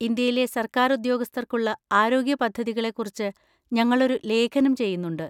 ഇന്ത്യയിലെ സർക്കാർ ഉദ്യോഗസ്ഥർക്കുള്ള ആരോഗ്യ പദ്ധതികളെ കുറിച്ച് ഞങ്ങളൊരു ലേഖനം ചെയ്യുന്നുണ്ട്.